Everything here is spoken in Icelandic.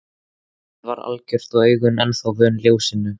Myrkrið var algjört og augun ennþá vön ljósinu.